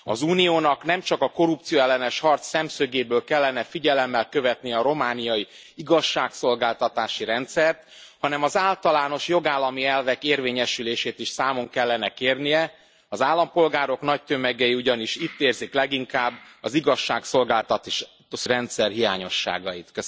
Az Uniónak nemcsak a korrupcióellenes harc szemszögéből kellene figyelemmel követnie a romániai igazságszolgáltatási rendszert, hanem az általános jogállami elvek érvényesülését is számon kellene kérnie, az állampolgárok nagy tömegei ugyanis itt érzik leginkább az igazságszolgáltatási rendszer hiányosságait.